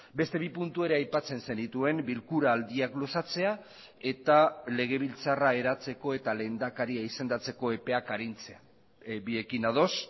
beste bi puntu ere aipatzen zenituen bilkura aldiak luzatzea eta legebiltzarra eratzeko eta lehendakaria izendatzeko epeak arintzea biekin ados